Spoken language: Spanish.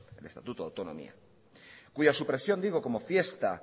el estatuto de autonomía cuya supresión digo como fiesta